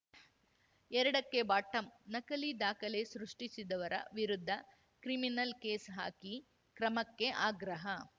ಎರಡಕ್ಕೆಬಾಟಂ ನಕಲಿ ದಾಖಲೆ ಸೃಷ್ಟಿಸಿದವರ ವಿರುದ್ಧ ಕ್ರಿಮಿನಲ್‌ ಕೇಸ್‌ ಹಾಕಿ ಕ್ರಮಕ್ಕೆ ಆಗ್ರಹ